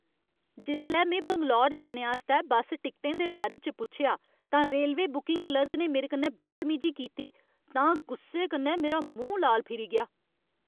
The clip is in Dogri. जिसलै में बैंगलोर जाने आस्तै बस्स टिकटें दे बारे च पुच्छेआ तां रेलवे बुकिंग क्लर्क ने मेरे कन्नै बदतमीजी कीती तां गुस्से कन्नै मेरा मूंह् लाल फिरी गेआ।